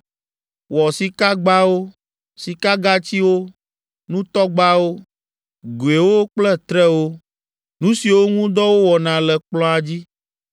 Wɔ sikagbawo, sikagatsiwo, nutɔgbawo, goewo kple trewo, nu siwo ŋu dɔ wowɔna le kplɔ̃a dzi,